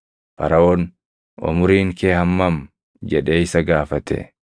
Faraʼoon, “Umuriin kee hammam?” jedhee isa gaafate.